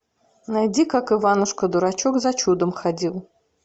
найди как иванушка дурачок за чудом ходил